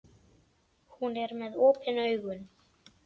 Hún er með opin augun.